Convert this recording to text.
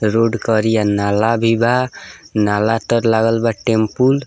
road करिया नाला भी बा नाला तर लागल बा टैम्पूल --